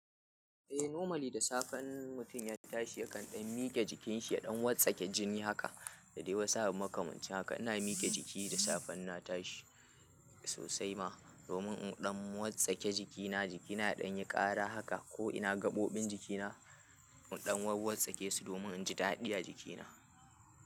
Eh, normally da safe in mutum ya tashi ya kan ɗan mike jikinshi, ya ɗan wartsake jini haka. Da dai wasu abu makamancin haka. Ina miƙe jiki da safe in na tashi sosai ma, domin in ɗan wartsake jikina. Jikina ya ɗan yi ƙara haka ko ina gaɓoɓin jikina in ɗan warwartsake su domin in ji daɗi a jikina.